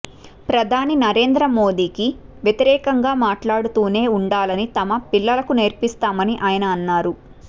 ప్రధాని నరేంద్రమోదీకి వ్యతిరేకంగా మాట్లాడుతూనే ఉండాలని తమ పిల్లలకు నేర్పిస్తామని ఆయన అన్నారు